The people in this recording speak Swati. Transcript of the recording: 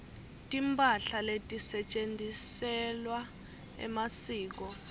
timphahla letisetjentisewa emasiko